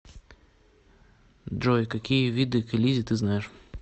джой какие виды к элизе ты знаешь